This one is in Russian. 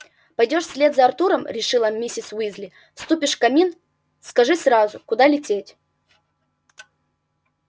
пойдёшь вслед за артуром решила миссис уизли вступишь в камин скажи сразу куда лететь